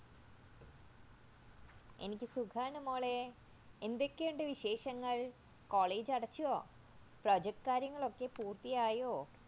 എനിക്ക് സുഖയാണുമോളെ എന്തൊക്കെയുണ്ട് വിശേഷങ്ങള്‍ കോളേജ് അടച്ചോ Project കാര്യങ്ങളൊക്കെ പൂർത്തിയായോ